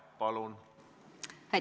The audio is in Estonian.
Palun!